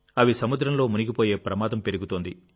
అవి సముద్రంలో మునిగిపోయే ప్రమాదం పెరుగుతోంది